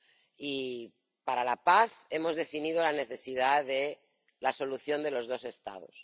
Y, para la paz, hemos definido la necesidad de la solución de los dos Estados.